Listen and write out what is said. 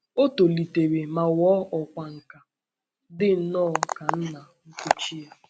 O tolitere ma ghọọ ọkwá nkà, dị nnọọ ka nna nkuchi ya.